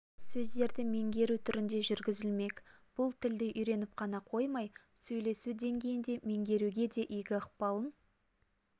сөздерді меңгеру түрінде жүргізілмек бұл тілді үйреніп қана қоймай сөйлесу деңгейінде меңгеруге де игі ықпалын